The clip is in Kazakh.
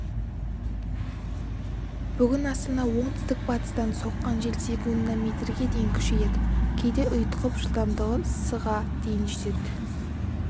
бүгін астанада оңтүстік батыстан соққан жел секундына метрге дейін күшейеді кейде ұйытқып жылдамдығы с-қа дейін жетеді